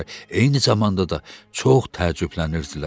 Eyni zamanda da çox təəccüblənirdilər.